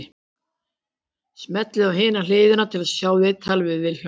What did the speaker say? Smellið á Hin hliðin til að sjá viðtalið við Vilhjálm.